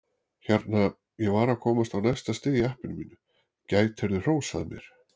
Hérna, ég var að komast á næsta stig í appinu mínu, gætirðu hrósað mér?